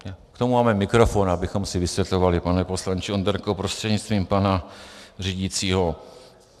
K tomu máme mikrofon, abychom si vysvětlovali, pane poslanče Onderko prostřednictvím pana řídícího.